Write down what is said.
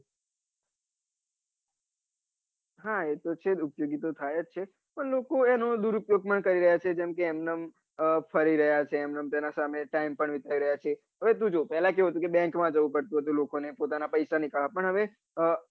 હા એતો છે જ ને એ તો ઉપયોગી થાય છે પન લોકો એનો દુર ઉપયોગ પણ કરી રહ્યા છે જેમ કે એમ એમ ફરી રહ્યા છે તેના સામે ટાઈમ વિતાવી રહ્યા છે હવે તું જો પેલા કેવું હતું કે bank માં જવું પડતું લોકોને પોતાના પૈસા નીકળવા પન હવે